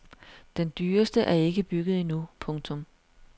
Den dyreste er ikke bygget endnu. punktum